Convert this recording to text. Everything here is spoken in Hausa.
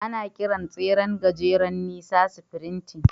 Ana kiran tseren gajeren nisa "sprinting."